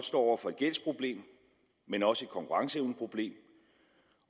står over for et gældsproblem men også et konkurrenceevneproblem